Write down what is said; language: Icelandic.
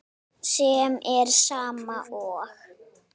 sem er sama og